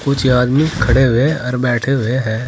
कुछ आदमी खड़े हुए और बैठे हुए है।